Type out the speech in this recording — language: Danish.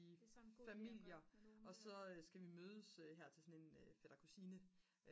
i familier og så skal vi mødes her til sådan en fætter-kusine